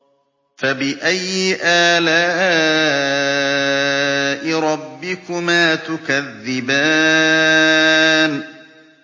فَبِأَيِّ آلَاءِ رَبِّكُمَا تُكَذِّبَانِ